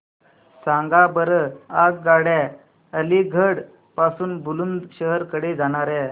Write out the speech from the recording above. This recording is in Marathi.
सांगा बरं आगगाड्या अलिगढ पासून बुलंदशहर कडे जाणाऱ्या